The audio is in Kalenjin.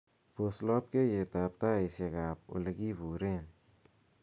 pos lobkeiyet ab taitsyekab ab olekiburen